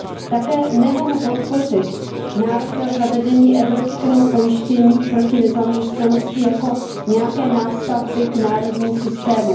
Také nemohu podpořit návrh na zavedení evropského pojištění proti nezaměstnanosti jako nějaké nástavby k národním systémům.